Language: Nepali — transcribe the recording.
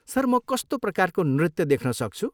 सर, म कस्तो प्रकारको नृत्य देख्न सक्छु?